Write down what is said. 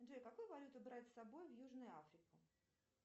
джой какую валюту брать с собой в южную африку